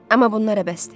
Amma bunlara bəsdir.